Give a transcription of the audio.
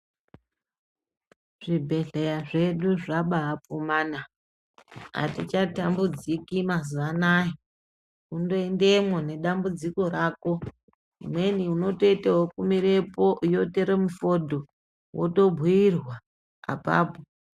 Zvibhedhleya zvedu zvabaafumana atichatambudziki mazuwa anaa kundoendemwo nedambudziko rako zvimweni unotoita ekumirepo yotore mufodho wotobhiirwa apapo.